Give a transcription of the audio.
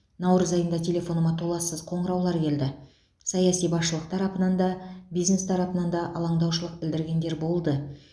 наурыз айында телефоныма толассыз қоңыраулар келді саяси басшылық тарапынан да бизнес тарапынан да алаңдаушылық білдіргендер болды